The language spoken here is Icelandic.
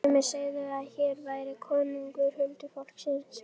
Sumir segðu að hér væri konungur huldufólksins.